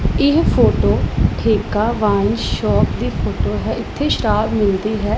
ਇਹ ਫੋਟੋ ਠੇਕਾ wine shop ਦੀ ਫੋਟੋ ਹੈ ਇੱਥੇ ਸ਼ਰਾਬ ਮਿਲਦੀ ਹੈ।